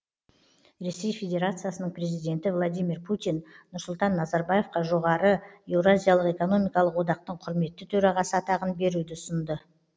ресей федерациясының президенті владимир путин нұрсұлтан назарбаевқа жоғары еуразиялық экономикалық одақтың құрметті төрағасы атағын беруді ұсынды